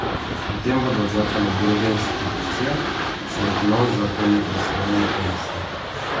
O tem bodo odločale druge institucije, saj Knovs za to ni pristojen, je pojasnil.